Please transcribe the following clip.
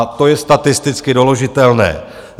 A to je statisticky doložitelné.